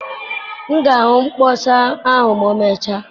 M ga-ahụ mkpọsa ahụ ma emechaa